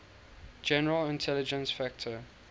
general intelligence factor